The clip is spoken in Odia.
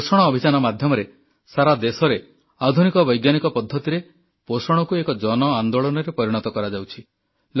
ପୋଷଣ ଅଭିଯାନ ମାଧ୍ୟମରେ ସାରାଦେଶରେ ଆଧୁନିକ ବୈଜ୍ଞାନିକ ପଦ୍ଧତିରେ ପୋଷଣକୁ ଏକ ଜନଆନ୍ଦୋଳନରେ ପରିଣତ କରାଯାଉଛି